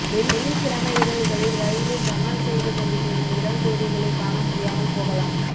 வெள்ளிக் கிழமை இரவுகளில் ரயிலில் ரொமான்ஸ் செய்து கொண்டு செல்லும் இளம் ஜோடிகளைக் காண முடியாமல் போகலாம்